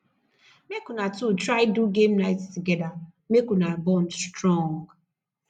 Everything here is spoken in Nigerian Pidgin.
mek una two try do game night togeda mek una bond strong